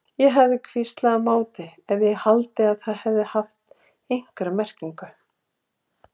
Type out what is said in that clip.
Ég hefði hvíslað á móti ef ég hefði haldið að það hefði haft einhverja merkingu.